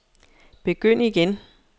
begynd igen